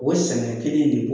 O sɛnɛ kelen de bɔ